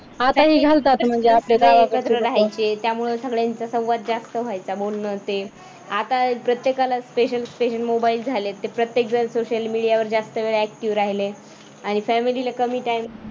आताही घालतात मग जे आपले एकत्र राहायचे त्यामुळे सगळ्यांचा संवाद जास्त व्हायचा बोलन ते आता प्रत्येकाला special special mobile झालेत. प्रत्येक जण social media वर जास्त वेळ active राहिले आणि family ला कमी time